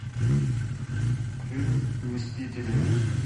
фильм мстители